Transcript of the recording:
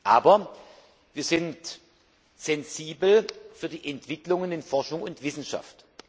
Aber wir sind sensibel für die Entwicklungen in Forschung und Wissenschaft.